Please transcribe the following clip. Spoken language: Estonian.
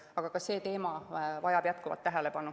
Aga ka see teema vajab jätkuvat tähelepanu.